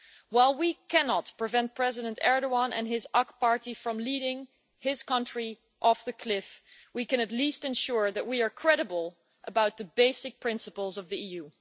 While we cannot prevent President Erdoğan and his AKP party from leading his country off the cliff, we can at least ensure that we are credible about the basic principles of the EU.